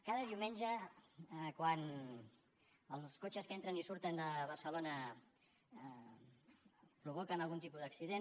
cada diumenge quan els cotxes que entren i surten de barcelona provoquen algun tipus d’accident